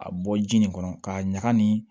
A bɔ ji nin kɔnɔ k'a ɲaga nin